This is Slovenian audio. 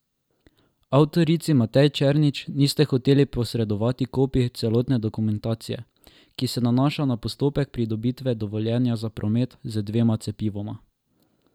Avtorici Mateji Černič niste hoteli posredovati kopij celotne dokumentacije, ki se nanaša na postopek pridobitve dovoljenja za promet z dvema cepivoma.